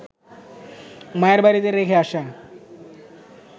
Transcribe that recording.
মায়ের বাড়িতে রেখে আসা